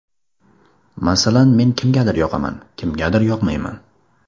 Masalan, men kimgadir yoqaman, kimgadir yoqmayman.